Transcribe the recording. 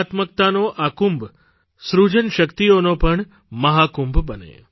કલાત્મકતાનો આ કુંભ સૃજન શક્તિઓનો પણ મહાકુંભ બને